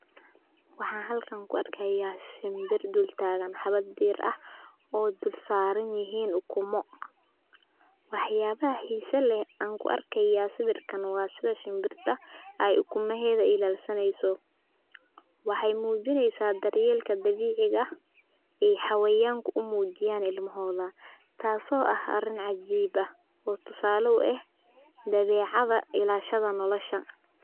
Waxaa halkan ku arkayaa shimbir dul taagan habad diir ah oo dul saaran yihiin ukumo waxyaabaha xiiso leh aan ku arkayaa sawirkan waa sida shimbirta ay ukuma heeda ilaalsaneyso waxay muujineysaa daryeelka dabiiciga ee xawiyaanka u muujiyaan ilmahooda taasoo ah arin cajiib ah oo tusaale u ah dabeecada ilashadaa nolosha.